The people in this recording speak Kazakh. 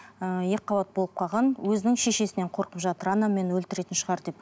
ыыы екіқабат болып қалған өзінің шешесінен қорқып жатыр анам мені өлтіретін шығар деп